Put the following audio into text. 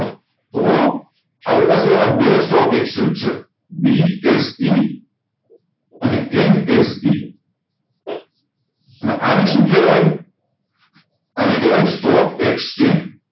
તો આપણી પાસે એવા બે stock exchange છે BSE અને NSE અને અને સુ કહેવાય અને કેહવાય stock exchange